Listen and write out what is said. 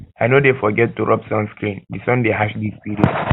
i no dey forget forget to rob sunscreen di sun dey harsh dis period